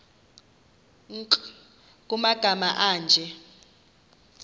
nkr kumagama anje